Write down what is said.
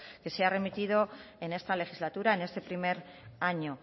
que se ha remitido en esta legislatura en este primer año